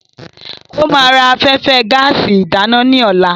Ó ma ra afẹ́fẹ́ gáàsì ìdáná ní ọ̀la.